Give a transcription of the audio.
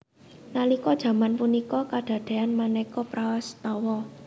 Nalika jaman punika kadadéan manéka prastawa